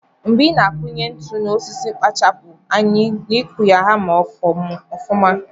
Mgbe ina akunye ntu na osisi kpachapu anya n'ikụ ya hama ọfuma.